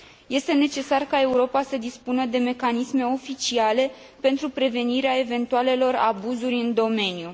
Este necesar ca Europa să dispună de mecanisme oficiale pentru prevenirea eventualelor abuzuri în domeniu.